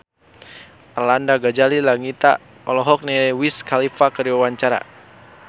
Arlanda Ghazali Langitan olohok ningali Wiz Khalifa keur diwawancara